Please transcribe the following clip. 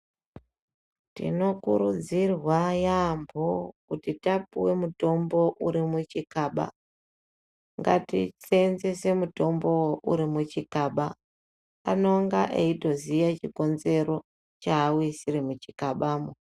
Tinokurudzirwa yaambo kuti tapuve mutombo uri muchikaba ngatisenzese mutombovo uri muchikaba. Anonga eitoziya chikonzero chauisire muchikabamo.